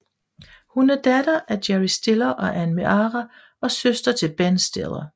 Hun er datter af Jerry Stiller og Anne Meara og søster til Ben Stiller